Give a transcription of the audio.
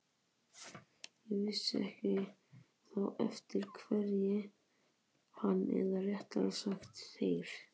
Ég vissi ekki þá eftir hverju hann, eða réttara sagt þeir